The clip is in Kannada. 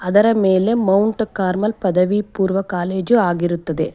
ಅದರ ಮೇಲೆ ಮೌಂಟ್ ಕಾರ್ಮೆಲ್ ಪದವಿ ಪೂರ್ವ ಕಾಲೇಜು ಆಗಿರುತ್ತದೆ.